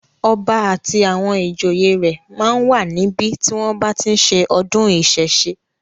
Ọba àti àwọn ìjòyè rẹ̀ máa ń wà níbi tí wọ́n bá tí ń ṣe ọdún ìsẹ̀ṣe.